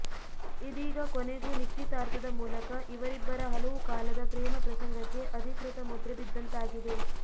ಇದೀಗ ಕೊನೆಗೂ ನಿಶ್ಚಿತಾರ್ಥದ ಮೂಲಕ ಇವರಿಬ್ಬರ ಹಲವು ಕಾಲದ ಪ್ರೇಮ ಪ್ರಸಂಗಕ್ಕೆ ಅಧೀಕೃತ ಮುದ್ರೆ ಬಿದ್ದಂತಾಗಿದೆ